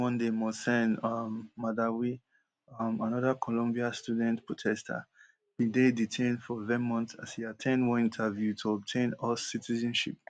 last monday mohsen um mahdawi um anoda columbia student protester bin dey detained for vermont as e at ten d one interview to obtain us citizenship